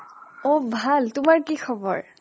অ' ভাল, তোমাৰ কি খবৰ?